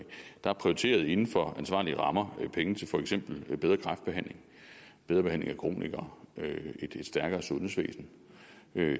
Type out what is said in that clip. der er prioriteret inden for ansvarlige rammer med penge til for eksempel bedre kræftbehandling bedre behandling af kronikere og et stærkere sundhedsvæsen